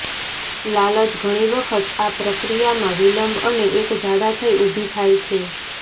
લાલચ ઘણી વખત આ પ્રક્રિયામાં વિલંબ અને એક જાડા થઇ ઊભી થાય છે